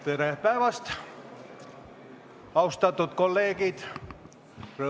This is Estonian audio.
Tere päevast, austatud kolleegid!